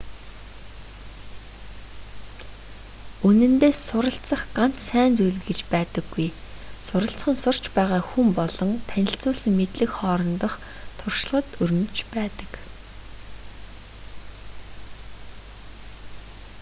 үнэндээ суралцах ганц сайн зүйл гэж байдаггүй суралцах нь сурч байгаа хүн болон танилцуулсан мэдлэг хоорондох туршлагад өрнөж байдаг